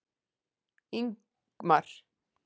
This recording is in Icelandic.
Ingmar